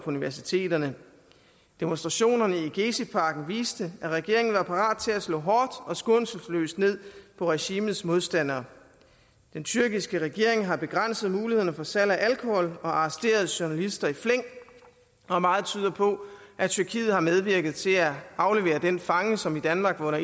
universiteterne demonstrationerne i geziparken viste at regeringen var parat til at slå hårdt og skånselsløst ned på regimets modstandere den tyrkiske regering har begrænset mulighederne for salg af alkohol og arresteret journalister i flæng og meget tyder på at tyrkiet har medvirket til at aflevere den fange som i danmark var